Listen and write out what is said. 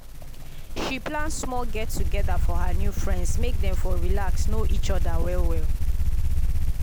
she plan small get together for her new friends make dem for relax know each other well well